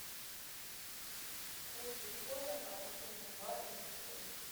курс биткоина по отношению к бату на сегодня